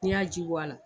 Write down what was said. N'i y'a ji bɔ a la